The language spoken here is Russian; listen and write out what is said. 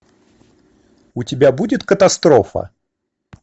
у тебя будет катастрофа